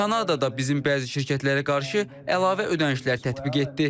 Kanadada bizim bəzi şirkətlərə qarşı əlavə ödənişlər tətbiq etdi.